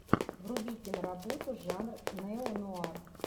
вруби киноработу жанр неонуар